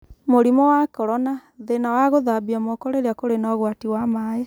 Mũrimũ wa Korona: Thĩĩna wa guthambia moko rĩrĩa kũrĩ na ũgwati wa maaĩ.